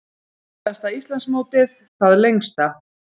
Hundraðasta Íslandsmótið það lengsta